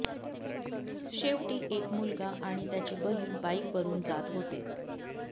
शेवटि एक मुलगा आणि त्याची बहिण बाईक वरुन जात होते